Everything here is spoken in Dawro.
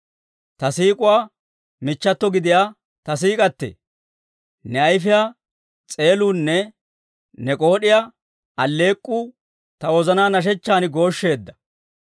Ta siik'uwaa michchato gidiyaa ta siik'attee! Ne ayifiyaa s'eeluunne ne k'ood'iyaa alleek'k'uu, ta wozanaa nashshechchan gooshsheedda.